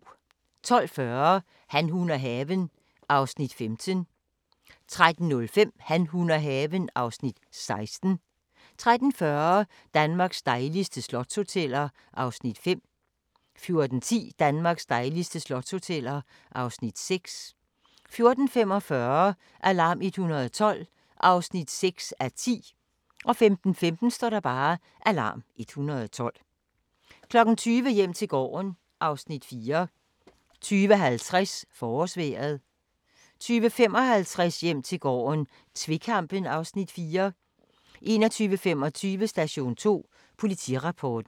12:40: Han, hun og haven (Afs. 15) 13:05: Han, hun og haven (Afs. 16) 13:40: Danmarks dejligste slotshoteller (Afs. 5) 14:10: Danmarks dejligste slotshoteller (Afs. 6) 14:45: Alarm 112 (6:10) 15:15: Alarm 112 20:00: Hjem til gården (Afs. 4) 20:50: Forårsvejret 20:55: Hjem til gården - tvekampen (Afs. 4) 21:25: Station 2: Politirapporten